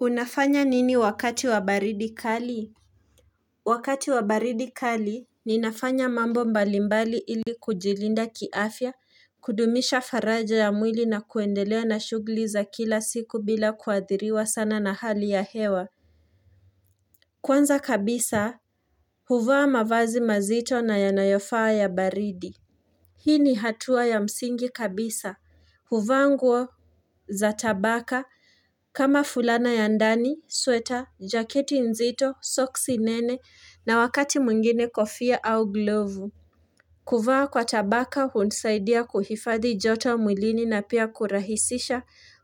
Unafanya nini wakati wa baridi kali? Wakati wa baridi kali ni nafanya mambo mbalimbali ili kujilinda kiafya, kudumisha faraja ya mwili na kuendelea na shugliza kila siku bila kuadhiriwa sana na hali ya hewa. Kwanza kabisa, huvaa mavazi mazito na yanayofaa ya baridi. Hii ni hatua ya msingi kabisa. Huvaa nguo za tabaka kama fulana ya ndani, sweta, jaketi nzito, socks nene na wakati mwingine kofia au glovu. Kuvaa kwa tabaka hunisaidia kuhifadhi joto mwilini na pia kurahisisha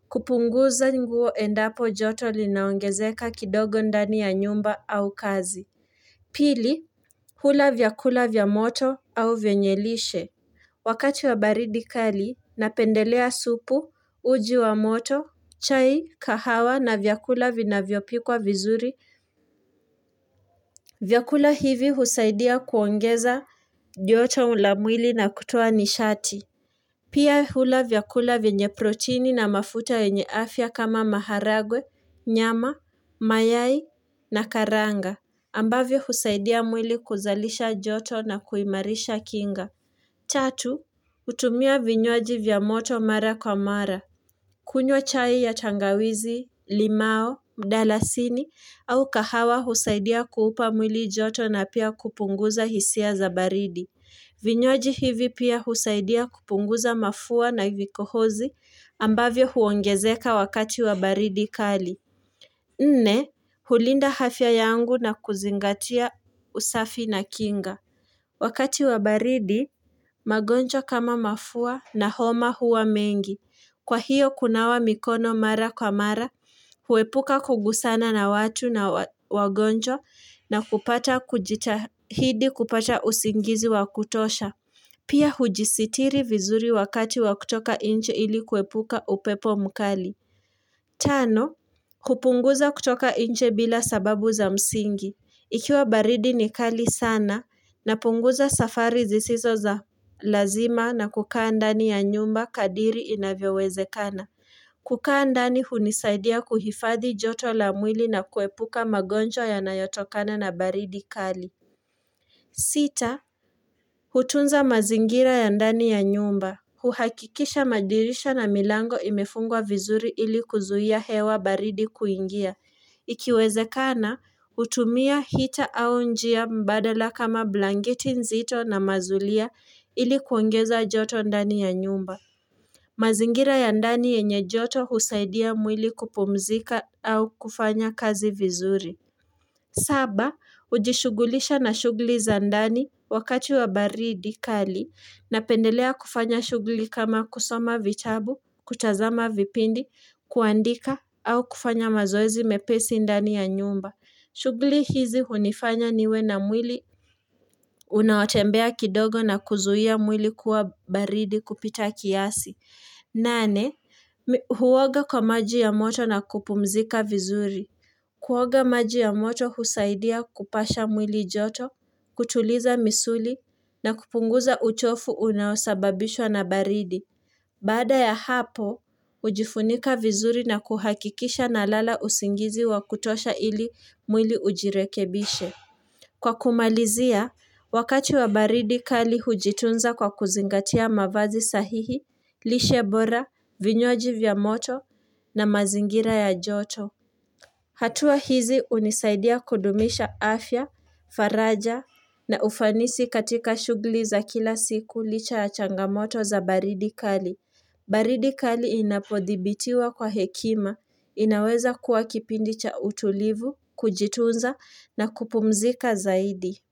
kupunguza nguo endapo joto linaongezeka kidogo ndani ya nyumba au kazi. Pili, hula vyakula vyamoto au vyenyelishe. Wakati wa baridi kali, napendelea supu, uji wa moto, chai, kahawa na vyakula vina vyopikwa vizuri. Vyakula hivi husaidia kuongeza joto la mwili na kutoa nishati. Pia hula vyakula vyenye protini na mafuta venye afya kama maharagwe, nyama, mayai na karanga. Ambavyo husaidia mwili kuzalisha joto na kuimarisha kinga. Tatu, utumia vinywaji vyamoto mara kwa mara. Kunywa chai ya tangawizi, limao, mdalasini au kahawa husaidia kuupa mwili joto na pia kupunguza hisia za baridi. Vinywaji hivi pia husaidia kupunguza mafua na vikohozi ambavyo huongezeka wakati wa baridi kali. Nne, hulinda hafya yangu na kuzingatia usafi na kinga. Wakati wabaridi, magonjwa kama mafua na homa huwa mengi. Kwa hiyo kunawa mikono mara kwa mara, huepuka kugusana na watu na wagonjwa na kupata kujitahidi kupata usingizi wakutosha. Pia hujisitiri vizuri wakati wakutoka nje ili kuepuka upepo mkali. Tano, hupunguza kutoka nje bila sababu za msingi. Ikiwa baridi ni kali sana na punguza safari zisizo za lazima na kukaa ndani ya nyumba kadiri inavyoweze kana. Kukaa ndani hunisaidia kuhifadhi joto la mwili na kuepuka magonjwa ya nayotokana na baridi kali. Sita, hutunza mazingira ya ndani ya nyumba. Huhakikisha madirisha na milango imefungwa vizuri ili kuzuhia hewa baridi kuingia. Ikiweze kana, utumia hita au njia mbadala kama blanketi nzito na mazulia ili kuongeza joto ndani ya nyumba. Mazingira ya ndani yenye joto husaidia mwili kupumzika au kufanya kazi vizuri. Saba, ujishugulisha na shuguli za ndani wakati wa baridi kali na pendelea kufanya shugli kama kusoma vitabu, kutazama vipindi, kuandika, au kufanya mazoezi mepesi ndani ya nyumba. Shugli hizi hunifanya niwe na mwili, unaotembea kidogo na kuzuhia mwili kuwa baridi kupita kiasi. Nane, huoga kwa maji ya moto na kupumzika vizuri. Kuoga maji ya moto husaidia kupasha mwili joto, kutuliza misuli na kupunguza uchofu unaosababishwa na baridi. Baada ya hapo, ujifunika vizuri na kuhakikisha na lala usingizi wa kutosha ili mwili ujirekebishe. Kwa kumalizia, wakati wa baridi kali hujitunza kwa kuzingatia mavazi sahihi, lishe bora, vinywaji vya moto na mazingira ya joto. Hatua hizi unisaidia kudumisha afya, faraja na ufanisi katika shugli za kila siku licha ya changamoto za baridi kali. Baridi kali inapodhibitiwa kwa hekima, inaweza kuwa kipindi cha utulivu, kujitunza na kupumzika zaidi.